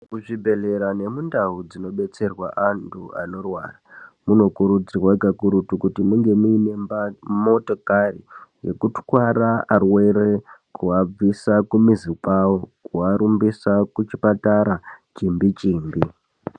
Muzvibhedhlera nemundau dzinodetserwa antu anorwara munokurudzirwa kakurutu kuti munge muine motokari yekutwara arwere kuabvisa kumizi kwavo kuarumbisa kuchipatara chimbi chimbi.